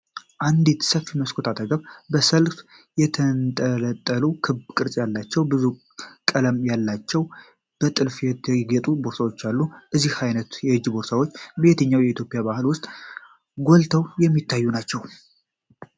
አንዲት ሰፊ መስኮት አጠገብ፣ በሰልፍ የተንጠለጠሉ ክብ ቅርጽ ያላቸው፣ ብዙ ቀለም ያላቸው፣ በጥልፍ ያጌጡ ቦርሳዎች አሉ። እነዚህ ዓይነት የእጅ ቦርሳዎች በየትኛው የኢትዮጵያ ባህል ውስጥ ጎልተው የሚታዩ ናቸው?